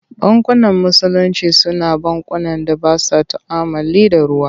Bankunan Musulinci Su na bankunan da ba sa tu'ammali da ruwa.